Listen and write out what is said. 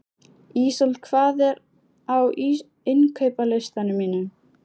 Ísold, hvað er á innkaupalistanum mínum?